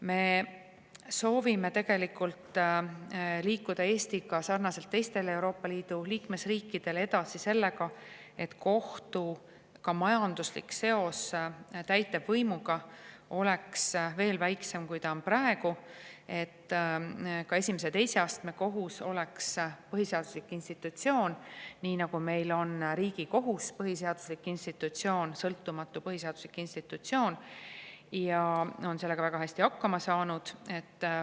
Me soovime tegelikult liikuda Eestis sarnaselt teiste Euroopa Liidu liikmesriikidega edasi sellega, et kohtu ka majanduslik seos täitevvõimuga oleks veel väiksem, kui ta on praegu, et ka esimese ja teise astme kohus oleks põhiseaduslik institutsioon, nii nagu meil on Riigikohus sõltumatu põhiseaduslik institutsioon ja on sellega väga hästi hakkama saanud.